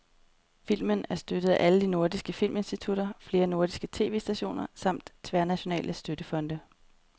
Filmen er støttet af alle de nordiske filminstitutter, flere nordiske tv-stationer samt de tværnationale støttefonde.